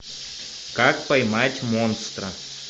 как поймать монстра